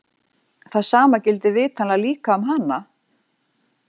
Það sama gildir vitanlega líka um hana!